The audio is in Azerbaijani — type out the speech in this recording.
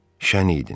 Şən idin?